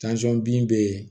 bin bɛ yen